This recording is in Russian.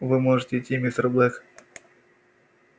вы можете идти мистер блэк